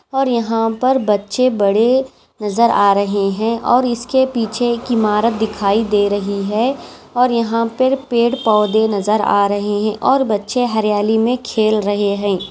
और यहाँ पर बच्चे बड़े नज़र आ रहे है और इसके पीछे एक इमारत दिखाई दे रही है और यहाँ पर पेड़ पौधे नज़र आ रहे है और बच्चे हरियाली में खेल रहे है।